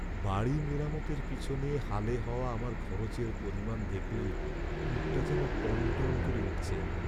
বাড়ি মেরামতের পেছনে হালে হওয়া আমার খরচের পরিমাণ দেখলেই বুকটা যেন টনটন করে উঠছে।